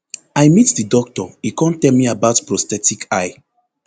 i meet di doctor e kon tell me about prosthetic eye